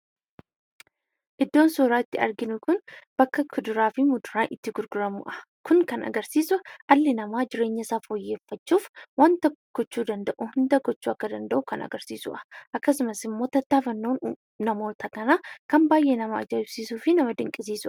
Iddoon suuraa itti arginu kun bakka kuduraa fi muduraan itti gurguramudha. Kun kan argarsiisu dhalli namaa jireenyasaa fooyyeffachuuf waan gochuu danda'u hunda gochuu akka danda'u kan agarsiisudha. Akkasumas immoo tattaafannoon namoota kanaa kan baay'ee nama ajaa'ibsiisuu fi nama dinqisiisudha.